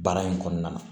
Baara in kɔnɔna na